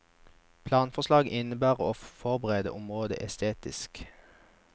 Planforslaget innebærer å forbedre området estetisk.